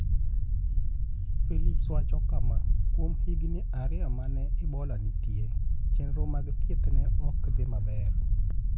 Philips wacho kama: "Kuom higini ariyo ma ne Ebola nitie, chenro mag thieth ne ok odhi maber.